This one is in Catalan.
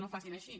no ho facin així